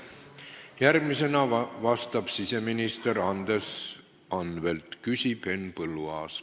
Järgmisena vastab siseminister Andres Anvelt ja küsib Henn Põlluaas.